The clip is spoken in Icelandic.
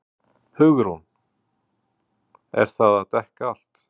HUgrún: Er það að dekka allt?